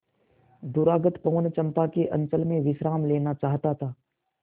दूरागत पवन चंपा के अंचल में विश्राम लेना चाहता था